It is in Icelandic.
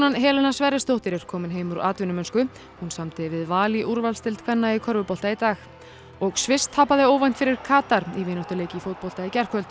Helena Sverrisdóttir er komin heim úr atvinnumennsku hún samdi við Val í úrvalsdeild kvenna í körfubolta í dag og Sviss tapaði óvænt fyrir Katar í vináttuleik í fótbolta í gærkvöld